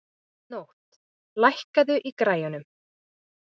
Nótt, lækkaðu í græjunum.